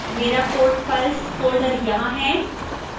मेरा code files folder यहां है